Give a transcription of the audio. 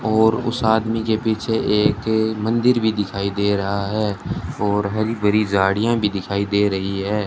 और उस आदमी के पीछे एक मंदिर भी दिखाई दे रहा है और हरी भरी झाड़ियां भी दिखाई दे रही है।